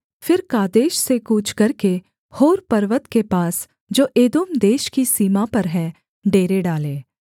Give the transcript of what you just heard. फिर कादेश से कूच करके होर पर्वत के पास जो एदोम देश की सीमा पर है डेरे डाले